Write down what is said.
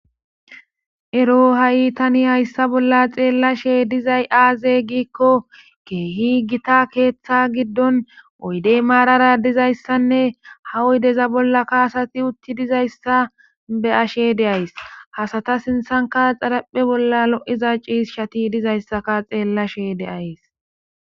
ero ha7i tani hayssa bolla xeellashe dizay aaze giikko keehi gita keeththa giddon oydey maarara dizayssanne ha oydeza bolla kaasati utti dizayssa be ashe deays hasata sinthanka xaraphe bolla lo7iza ciis shati dizayssaka xeellashe deays